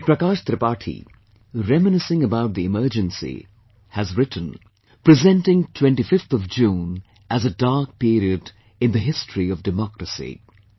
Shri Prakash Tripathi reminiscing about the Emergency, has written, presenting 25thof June as a Dark period in the history of Democracy